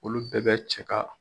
Olu bɛɛ bɛ cɛ ka